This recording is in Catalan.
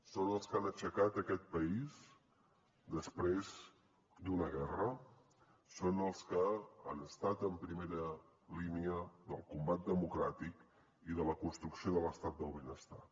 són els que han aixecat aquest país després d’una guerra són els que han estat en primera línia del combat democràtic i de la construcció de l’estat del benestar